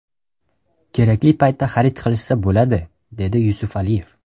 Kerakli paytda xarid qilishsa bo‘ladi”, dedi Yusufaliyev.